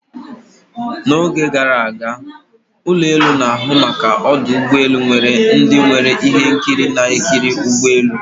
na oge gara aga, ụlọ elu na-ahụ maka ọdụ ụgbọ elu nwere ndị nwere ihe nkiri na-ekiri ụgbọ elu